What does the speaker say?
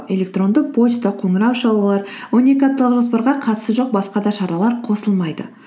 электрондық почта қоңырау шалулар он екі апталық жоспарға қатысы жоқ басқа да шаралар қосылмайды